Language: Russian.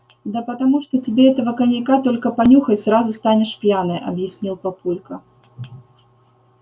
да потому что тебе этого коньяка только понюхать сразу станешь пьяная объяснил папулька